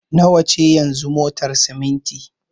Nawa ce yanzu motar siminti?